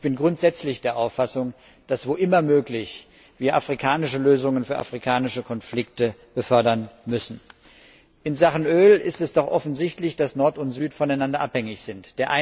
Ich bin grundsätzlich der Auffassung, dass wir, wo immer möglich, afrikanische Lösungen für afrikanische Konflikte fördern müssen. In Sachen Öl ist es doch offensichtlich, dass Nord und Süd voneinander abhängig sind.